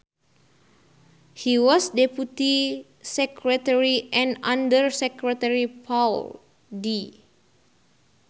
He was Deputy Secretary and Under Secretary Paul D